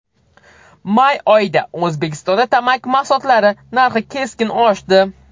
May oyida O‘zbekistonda tamaki mahsulotlari narxi keskin oshdi.